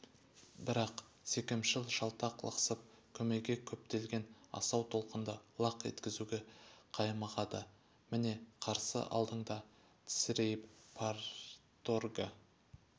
бірақ секемшіл жалтақ лықсып көмейге кептелген асау толқынды лақ еткізуге қаймығады міне қарсы алдыңда тесірейіп парторгі